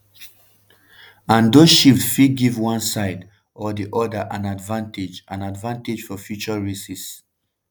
and those shifts fit give one side or di oda an advantage an advantage for future races.